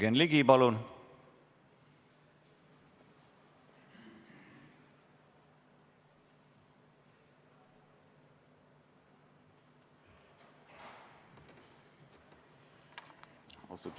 Jürgen Ligi, palun!